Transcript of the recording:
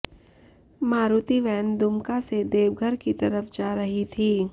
Maruti van Dumka से देवघर की तरफ जा रही थी